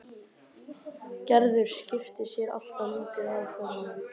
Gerður skipti sér alltaf lítið af fjármálunum.